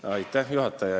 Juhataja!